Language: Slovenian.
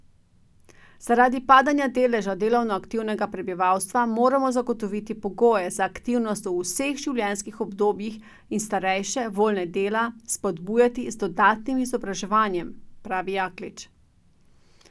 Zaradi padanja deleža delovno aktivnega prebivalstva moramo zagotoviti pogoje za aktivnost v vseh življenjskih obdobjih in starejše, voljne dela, spodbujati z dodatnim izobraževanjem, pravi Jaklič.